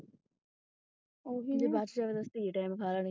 ਓਹੀ ਨਾ ਜੇ ਬੱਚ ਜਾਏ ਤਾਂ ਸਹੀ ਟਾਈਮ ਖਾ ਲੈਣੀ।